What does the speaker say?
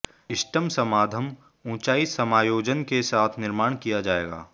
इष्टतम समाधान ऊंचाई समायोजन के साथ निर्माण किया जाएगा